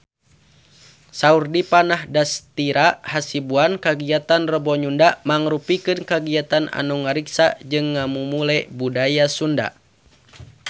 Saur Dipa Nandastyra Hasibuan kagiatan Rebo Nyunda mangrupikeun kagiatan anu ngariksa jeung ngamumule budaya Sunda